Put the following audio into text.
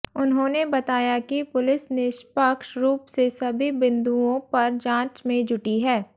उन्होंने बताया कि पुलिस निष्पक्ष रूप से सभी बिन्दुओं पर जांच में जुटी है